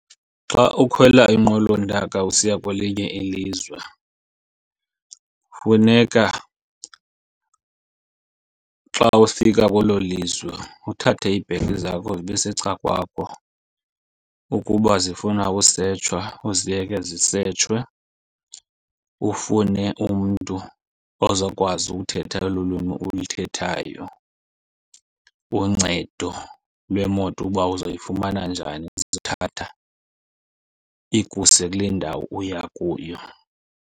Xa ukhwela inqwelontaka usiya kwelinye ilizwe funeka xa ufika kwelo lizwe uthathe iibhegi zakho zibe secan'kwakho. Ukuba zifuna usetshwa uziyeke zisetshwe. Ufune umntu ozawukwazi uthetha olu lwimi ulithethayo, uncedo lwemoto uba uzayifumana njani eza kuthatha ikuse kule ndawo uya kuyo.